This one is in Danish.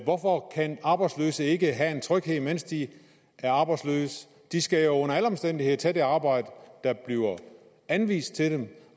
hvorfor kan arbejdsløse ikke have en tryghed mens de er arbejdsløse de skal jo under alle omstændigheder tage det arbejde der bliver anvist til dem